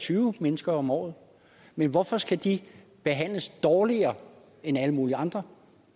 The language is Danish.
tyve mennesker om året men hvorfor skal de behandles dårligere end alle mulige andre